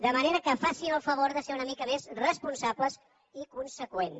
de manera que facin el favor de ser una mica més responsables i conseqüents